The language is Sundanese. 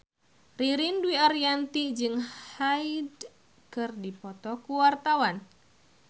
Ririn Dwi Ariyanti jeung Hyde keur dipoto ku wartawan